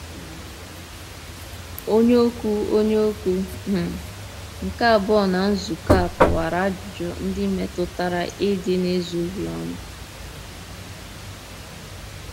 Onye okwu Onye okwu um nke abụọ na nzukọ a kọwara ajụjụ ndị metụtara ịdị n’ezoghị ọnụ.